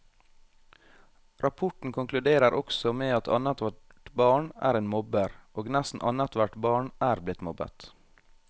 Rapporten konkluderer også med at annethvert barn er en mobber, og nesten annethvert barn er blitt mobbet.